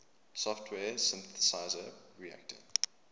software synthesizer reaktor